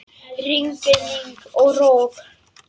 Rigning og rok!